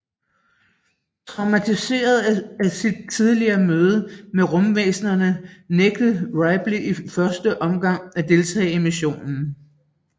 Traumatiseret af sit tidligere møde med rumvæsnerne nægter Ripley i første omgang at deltage i missionen